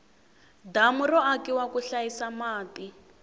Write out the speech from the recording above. damu ro akiwa ku hlayisa mati